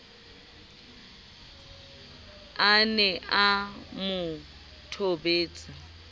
a ne a mo thobetse